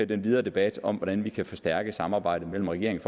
den videre debat om hvordan vi kan forstærke samarbejdet mellem regeringen